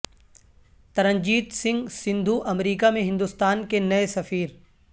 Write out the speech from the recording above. ترنجیت سنگھ سندھو امریکہ میں ہندوستان کے نئے سفیر